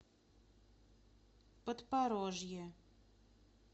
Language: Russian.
подпорожье